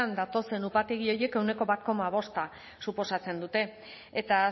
datozen upategi horiek ehuneko bat koma bosta suposatzen dute eta